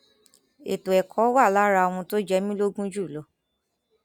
ètò ẹkọ wà lára ohun tó jẹ mí lógún jù lọ